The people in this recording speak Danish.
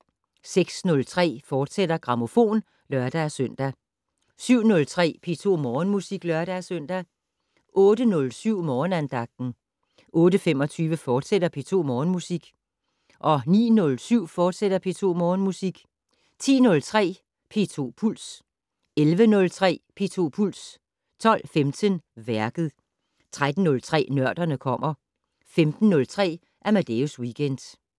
06:03: Grammofon, fortsat (lør-søn) 07:03: P2 Morgenmusik (lør-søn) 08:07: Morgenandagten 08:25: P2 Morgenmusik, fortsat 09:07: P2 Morgenmusik, fortsat 10:03: P2 Puls 11:03: P2 Puls 12:15: Værket 13:03: Nørderne kommer 15:03: Amadeus Weekend